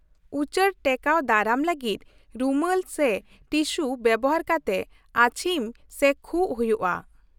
ᱩᱪᱟᱹᱲ ᱴᱮᱠᱟᱣ ᱫᱟᱨᱟᱢ ᱞᱟᱹᱜᱤᱫ, ᱨᱩᱢᱟᱹᱞ ᱥᱮ ᱴᱤᱥᱩ ᱵᱮᱣᱦᱟᱨ ᱠᱟᱛᱮ ᱟᱹᱪᱷᱤᱢ ᱥᱮ ᱠᱷᱩᱜ ᱦᱩᱭᱩᱜᱼᱟ ᱾